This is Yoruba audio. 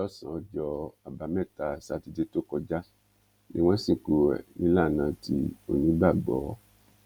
lọ́sàn-án ọjọ́ àbámẹ́ta sátidé tó kọjá ni wọ́n sìnkú ẹ̀ nílànà ti onígbàgbọ́